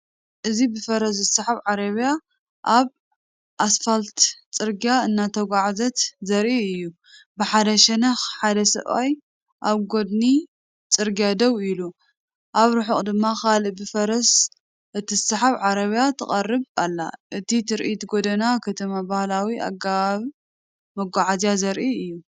እዚ ብፈረስ ዝስሓብ ዓረብያ ኣብ ኣስፋልት ጽርግያ እናተጓዕዘት ዘርኢ እዩ። ብሓደ ሸነኽ ሓደ ሰብኣይ ኣብ ጐድኒ ጽርግያ ደው ኢሉ፡ኣብ ርሑቕ ድማ ካልእ ብፈረስ እትስሓብ ዓረብያ ትቐርብ ኣላ። እቲ ትርኢት ጎደና ከተማን ባህላዊ ኣገባብ መጓዓዝያን ዘርኢ እዩ።